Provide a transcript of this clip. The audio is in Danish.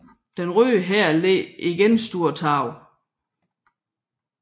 Den Røde Hær led igen store tab